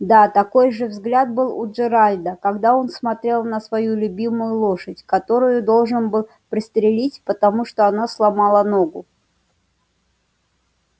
да такой же взгляд был у джералда когда он смотрел на свою любимую лошадь которую должен был пристрелить потому что она сломала ногу